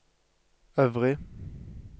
øvrig